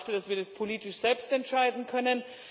Ich dachte, dass wir das politisch selbst entscheiden können.